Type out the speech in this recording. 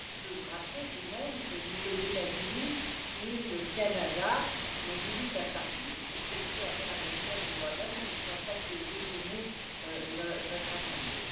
Puis je vous rappeler tout de même que ni les États Unis, ni le Canada n'ont voulu faire partie de cette commission interaméricaine des droits de l'homme, et je ne pense pas que cela ait déchaîné notre Assemblée.